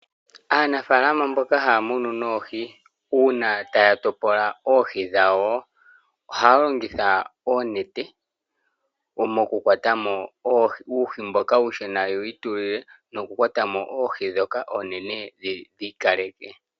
Aanafaalama mboka haya munu oohi uuna taya topola oohi dhawo. Ohaya longitha oonete oku kwata mo uuhi mboka uushona yewu itulile noku kwata mo oohi ndhoka oonene yedhi ikalekele.